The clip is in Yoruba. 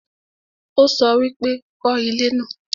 ó sọ wípé 'kọ́ ilé náà'